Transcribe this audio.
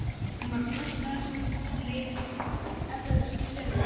Hún bara brosti að þessu en leið eflaust skelfilega.